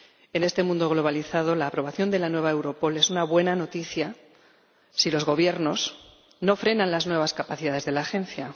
En este mundo globalizado la aprobación de la nueva Europol es una buena noticia si los Gobiernos no frenan las nuevas capacidades de la Agencia.